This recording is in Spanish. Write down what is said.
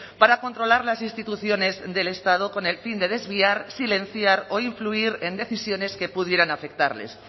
para controlar las instituciones del estado con el fin de desviar silenciar o influir en decisiones que pudieran afectarles